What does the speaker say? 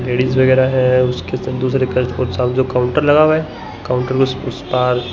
ladies वगैरा है उसके संग दूसरे जो काउंटर लगा हुआ है काउंटर ने उस पार--